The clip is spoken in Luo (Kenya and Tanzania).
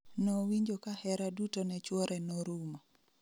Nowinjo ka hera duto ne chwore norumo